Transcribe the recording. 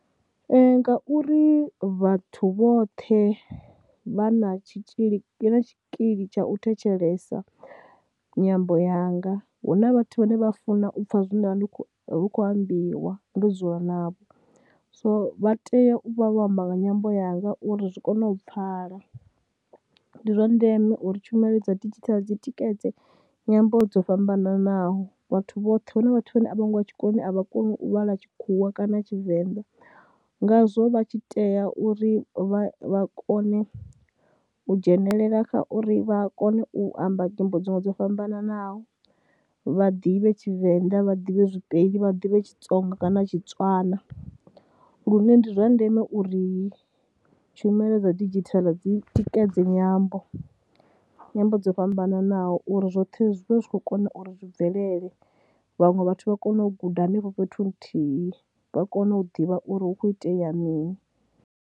Ee, ngauri vhathu vhoṱhe vha na tshitzhili, vha na tshikili tsha u thetshelesa nyambo yanga, hu na vhathu vhane vha funa u pfha zwine nda vha ndi khou, hu khou ambiwa ndo dzula navho. So vha tea u vha vho amba nga nyambo yanga uri zwi kone u pfhala, ndi zwa ndeme uri tshumelo dza didzhithala dzi tikedze nyambo dzo fhambananaho, vhathu vhoṱhe, hu na vhathu vhane a vho ngo ya tshikoloni a vha koni u vhala tshikhuwa kana ya Tshivenḓa ngazwo vha tshi tea uri vha vha kone u dzhenelela kha uri vha kone u amba nyimbo dziṅwe dzo fhambananaho. Vha ḓivhe Tshivenḓa, vha ḓivhe zwiVenḓa, vha ḓivhe tshiTsonga kana tshiTswana. Lune ndi zwa ndeme uri tshumelo dza didzhithala dzi tikedze nyambo, nyambo dzo fhambananaho uri zwoṱhe zwi vhe zwi khou kona uri zwi bvelele, vhaṅwe vhathu vha kone u guda henefho fhethu huthihi, vha kone u ḓivha uri hu khou itea mini.